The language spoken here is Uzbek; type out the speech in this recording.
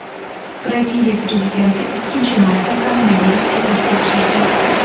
Braziliya prezidenti ikkinchi marta koronavirusga test topshirdi.